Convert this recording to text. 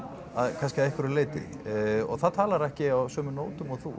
kannski að einhverju leyti og það talar ekki á sömu nótum og þú